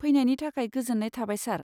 फैनायनि थाखाय गोजोन्नाय थाबाय, सार।